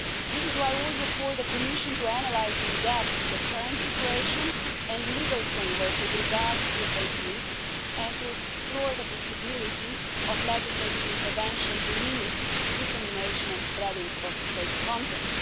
This is why I also call on the Commission to analyse in depth the current situation and legal framework with regard to fake news and to explore the possibility of legislative intervention to limit the dissemination and spreading of fake content.